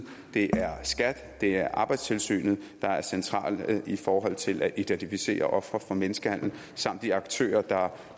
det er skat og det er arbejdstilsynet der er centrale i forhold til at identificere ofre for menneskehandel samt de aktører der